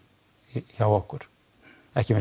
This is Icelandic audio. hjá okkur ekki með